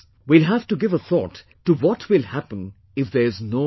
We will have to give a thought to what will happen if there's no water